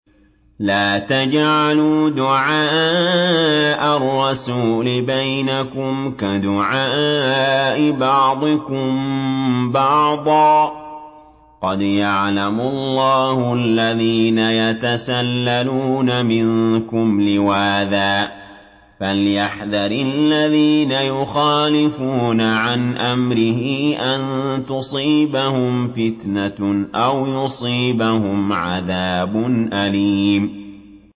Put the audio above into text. لَّا تَجْعَلُوا دُعَاءَ الرَّسُولِ بَيْنَكُمْ كَدُعَاءِ بَعْضِكُم بَعْضًا ۚ قَدْ يَعْلَمُ اللَّهُ الَّذِينَ يَتَسَلَّلُونَ مِنكُمْ لِوَاذًا ۚ فَلْيَحْذَرِ الَّذِينَ يُخَالِفُونَ عَنْ أَمْرِهِ أَن تُصِيبَهُمْ فِتْنَةٌ أَوْ يُصِيبَهُمْ عَذَابٌ أَلِيمٌ